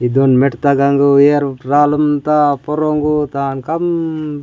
ये दोन मेटता गांगो एयर रालम त परांगु तान कम --